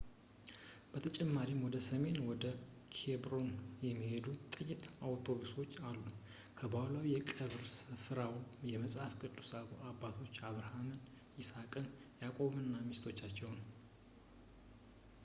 በተጨማሪም ወደ ሰሜን ወደ ኬብሮን የሚሄዱ ጥቂት አውቶቡሶች አሉ ባህላዊ የቀብር ስፍራው የመጽሐፍ ቅዱስ አባቶች አብርሃምን ይስሐቅ ያዕቆብንና ሚስቶቻቸውን